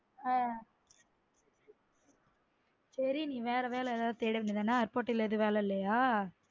ஆஹ் செரி நீ வேற வேல ஏதாவது தேட வேண்டியது தான airport ல வேற வேல எதுவும் இல்லயா